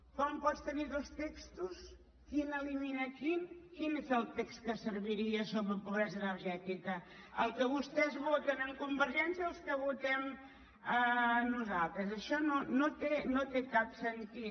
com pot tenir dos textos quin elimina quin quin és el text que serviria sobre pobresa energètica el que vostès voten amb convergència o el que votem nosaltres això no té cap sentit